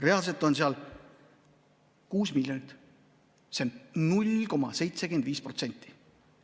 Reaalselt on seal 6 miljonit, see on 0,75%.